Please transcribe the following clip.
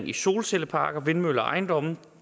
i solcelleparker vindmøller og ejendomme